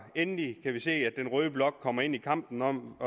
endelig kan vi se at den røde blok kommer ind i kampen om